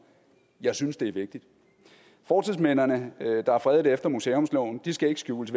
jeg synes det er vigtigt fortidsminderne der er fredet efter museumsloven skal ikke skjules